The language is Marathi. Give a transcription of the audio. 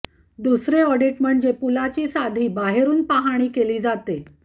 दुसरे ऑडिट म्हणजे पुलाची साधी बाहेरून पाहणी केली जाते